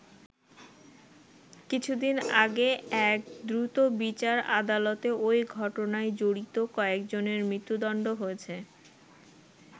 কিছুদিন আগে এক দ্রুতবিচার আদালতে ওই ঘটনায় জড়িত কয়েকজনের মৃত্যুদণ্ড হয়েছে।